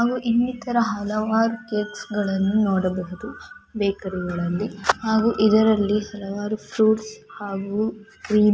ಹಾಗೂ ಇನ್ನಿತರ ಹಲವಾರು ಕೇಕ್ಸ್ಗಳನ್ನ ನೋಡಬಹುದು ಬೇಕರಿಗಳಲ್ಲಿ ಹಾಗೂ ಇದರಲ್ಲಿ ಹಲವಾರು ಫ್ರೂಟ್ಸ್ ಹಾಗೂ ಕ್ರೀಮ್ --